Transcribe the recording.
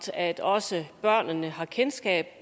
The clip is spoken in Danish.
at også børnene har kendskab